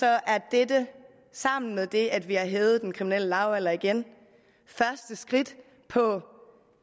er dette sammen med det at vi har hævet den kriminelle lavalder igen første skridt på